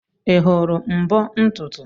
Ị hụrụ mbo ntutu?